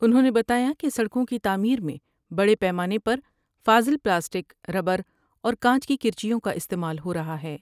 انہوں نے بتایا کہ سڑکوں کی تعمیر میں بڑے پیمانے پر فاضل پلاسٹک ، ر براور کانچ کی کرچیوں کا استعمال ہورہا ہے ۔